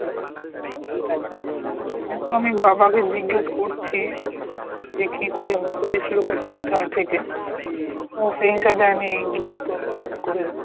এইতো আমি বাবা কে জিজ্ঞেস করছি যে কী করে করেছিল কোথা কোথায় থেকে সে হিসেবে আমি গিয়ে করে দেব।